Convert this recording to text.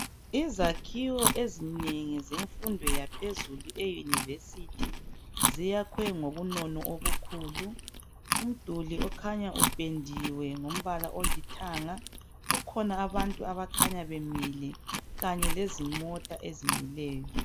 Izakhiwo ezinengi zemfundo yaphezulu eYunivesithi ziyakhwe ngobunono obukhulu. Umduli okhanya upendiwe ngombala olithanga kukhona abantu abakhanya bemile kanye lezimota ezimileyo.